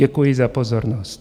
Děkuji za pozornost.